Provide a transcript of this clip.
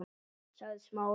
sagði Smári.